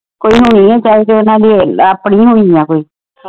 ਕੋਈ ਹੋਣੀ ਆ ਚਾਹੇ ਤਾ ਓਹਨਾ ਦੀ ਆਪਣੀ ਹੋਣੀ ਆ ਕੋਈ